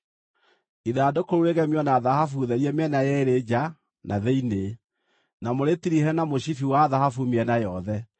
Ithandũkũ rĩu rĩgemio na thahabu therie mĩena yeerĩ nja na thĩinĩ, na mũrĩtirihe na mũcibi wa thahabu mĩena yothe.